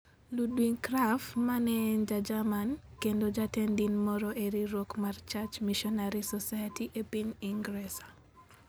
Ludwig Krapf, ma ne en Ja-Jerman kendo jatend din moro e riwruok mar Church Missionary Society e piny Ingresa.